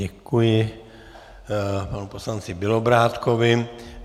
Děkuji panu poslanci Bělobrádkovi.